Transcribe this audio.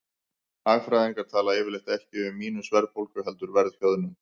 Hagfræðingar tala yfirleitt ekki um mínus-verðbólgu heldur verðhjöðnun.